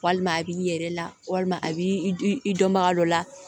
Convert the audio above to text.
Walima a b'i yɛrɛ la walima a b'i i dɔnbaga dɔ la